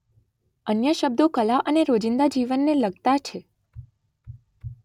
અન્ય શબ્દો કલા અને રોજિંદા જીવનને લગતા છે.